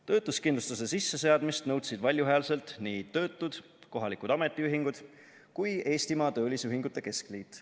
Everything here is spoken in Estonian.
Töötuskindlustuse sisseseadmist nõudsid valjuhäälselt nii töötud, kohalikud ametiühingud kui Eestimaa Töölisühingute Keskliit.